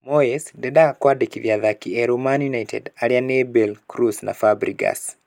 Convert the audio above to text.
Moyes: Ndendaga kũandĩkithia athaki erũ Man United. Arĩa nĩ Bale, Kroos na Fabregas.